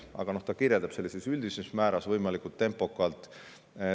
Aga see kirjeldab seda, et üldises määras võimalikult tempokalt.